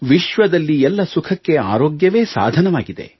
ವಿಶ್ವದಲ್ಲಿ ಎಲ್ಲ ಸುಖಕ್ಕೆ ಆರೋಗ್ಯವೇ ಸಾಧನವಾಗಿದೆ